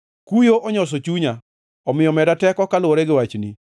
Kuyo onyoso chunya, omiyo meda teko kaluwore gi wachni.